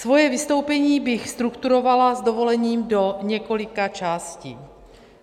Svoje vystoupení bych strukturovala s dovolením do několika částí.